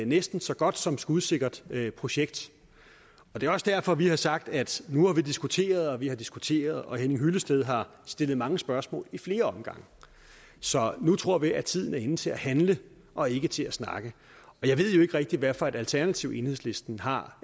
næsten så godt som skudsikkert projekt det er også derfor vi har sagt at nu har vi diskuteret og vi har diskuteret og herre henning hyllested har stillet mange spørgsmål i flere omgange så nu tror vi at tiden er inde til at handle og ikke til at snakke jeg ved jo ikke rigtig hvad for et alternativ enhedslisten har